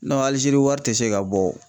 ALIZERI wari tɛ se ka bɔ wo.